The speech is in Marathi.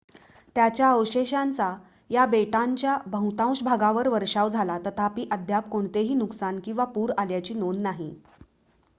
त्याच्या अवशेषांचा या बेटांच्या बहुतांश भागांवर वर्षाव झाला तथापि अद्याप कोणतेही नुकसान किंवा पूर आल्याची नोंद नाही